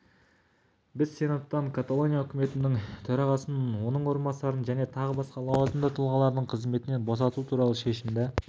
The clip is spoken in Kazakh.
біз сенаттан каталония үкіметінің төрағасын оның орынбасарын және тағы басқа лауазымды тұлғаларды қызметінен босату туралы шешімді